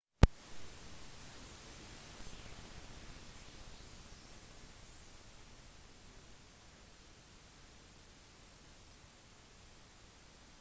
en av de mest anerkjente var kong sejong den 4. kongen i josefin-dynastiet